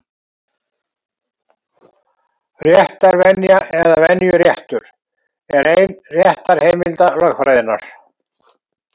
Réttarvenja, eða venjuréttur, er ein réttarheimilda lögfræðinnar.